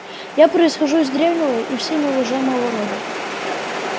я происхожу из древнего и всеми уважаемого рода